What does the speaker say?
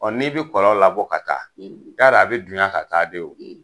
n'i bi kɔlɔn labɔ ka taa, yarɔ a bɛ dunya ka taa de o.